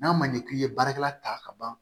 N'a man ɲɛ k'i ye baarakɛla ta ka ban